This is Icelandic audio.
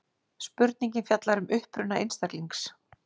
spurningin fjallar um uppruna einstaklings